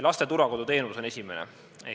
Laste turvakodu teenus on esimene.